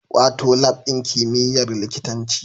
Wato Lab ɗin kimiyyar likitanci